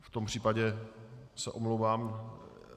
V tom případě se omlouvám.